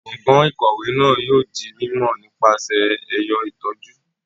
Gbọngan ikọwe náà yóò di mímọ nípasẹ ẹyọ itọju